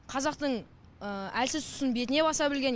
қазақтың әлсіз тұсын бетіне баса білген